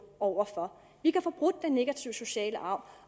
over for vi kan få brudt den negative sociale arv